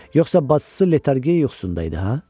Yoxsa bacısı letargiya yuxusunda idi, ha?